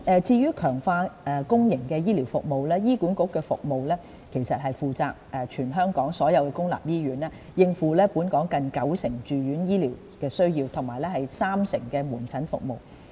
至於強化公營醫療服務，醫管局其實負責管理全港所有公立醫院，應付本港近九成住院醫療需要和約三成的門診服務。